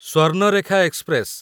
Swarnarekha express